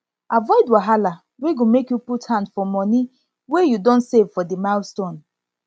avoid wahala wey go make you put hand for money wey you money wey you don save for di milestone